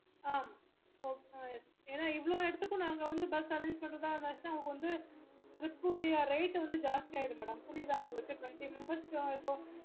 ஆஹ் ஏன்னா இவ்ளோ இடத்துக்கும் நாங்க வந்து ewait பண்ணா rate வந்து ஜாஸ்தி ஆயிடும் madam